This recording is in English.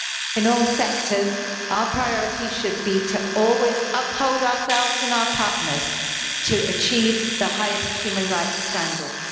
In all sectors, our priority should be to always hold ourselves and our partners to achieving the highest human rights standards.